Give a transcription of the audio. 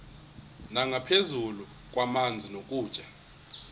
nangaphezu kwamanzi nokutya